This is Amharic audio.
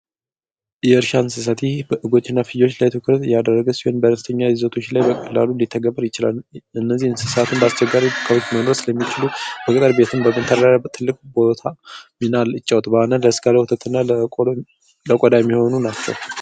ኢየርሻ እንስሳቲህ በእጎች ነፊዮች ላይ ትኩርት የደረግስ ሆን በረስተኛ ይዘቶች ላይ በላሉ ሊተገበር ይችላል እነዚህ እንስሳትን በስቸጋሪ ከቡት መሎወስ ለሚችሉ በቀቀር ቤትን በገንተራሪ ትልክ ቦታ ሚናል እጫዎት በአነን ለእስጋለ ወተትና ለቆዳ የሚሆኑ ናቸው""